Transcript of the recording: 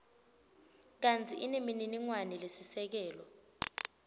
kantsi inemininingwane lesisekelo